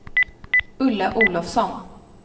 Ulla Olovsson